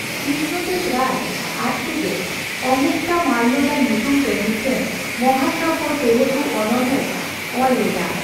ᱠᱨᱤᱥᱱᱚ ᱫᱮᱵᱽ ᱨᱟᱭ ᱟᱡᱛᱮᱜᱮ ᱚᱢᱩᱠᱛᱚᱢᱟᱞᱞᱚᱫᱟ ᱧᱩᱛᱩᱢ ᱛᱮ ᱢᱤᱫᱴᱟᱝ ᱢᱟᱦᱟᱠᱟᱵᱽᱵᱚ ᱛᱮᱞᱮᱜᱩ ᱚᱱᱚᱬᱦᱮᱭ ᱚᱞ ᱞᱮᱫᱟ ᱾